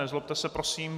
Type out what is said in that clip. Nezlobte se prosím.